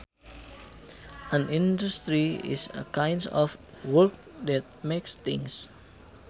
An industry is a kind of work that makes things